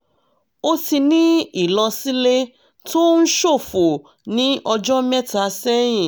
o ti ní ìlọ̀sílẹ̀ tó ń ṣòfò ní ọjọ́ mẹ́ta sẹ́yìn